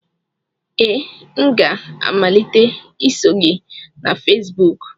Ee, m ga-amalite iso gị na Fesibuku